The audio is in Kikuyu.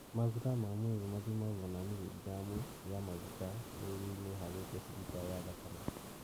maguta ma mwĩrĩ mathimagwo na mirigramu (mg) ya maguta mwĩrĩ-inĩ harĩ decilita(dL) ya thakame.